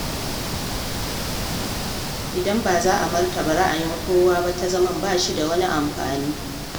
Idan ba za a martaba ra'ayin kowa ba ta zaman ba shi da wani amfani.